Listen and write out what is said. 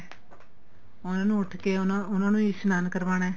ਉਹਨਾ ਨੂੰ ਉਠ ਕੇ ਉਹਨਾ ਨੂੰ ਇਸ਼ਨਾਨ ਕਰਵਾਣਾ